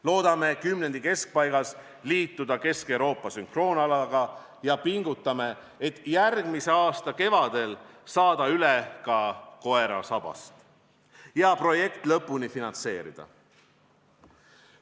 Loodame kümnendi keskpaigas liituda Kesk-Euroopa sünkroonalaga ning pingutame, et järgmise aasta kevadel saada üle ka koera sabast ja projekt lõpuni finantseerida.